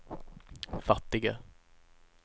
fattiga